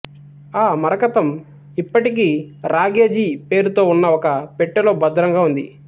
ఆ మరకతం ఇప్పటికీ రాఘోజీ పేరుతో ఉన్న ఒక పెట్టెలో భద్రంగా ఉంది